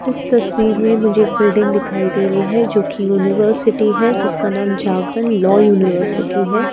इस तस्वीर में मुझे एक बिल्डिंग दिखाई दे रही है जो कि यूनिवर्सिटी है जिसका नाम जागरण लॉ यूनिवर्सिटी है।